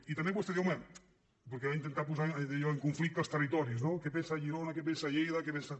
i també vostè diu home perquè ha intentat posar allò en conflicte els territoris no què en pensa girona què en pensa lleida què en pensa